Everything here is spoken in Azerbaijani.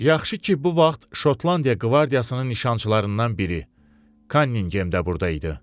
Yaxşı ki, bu vaxt Şotlandiya qvardiyasının nişançılarından biri Kanningemdə burda idi.